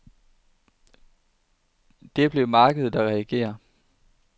Det er blevet markedet, der reagerer.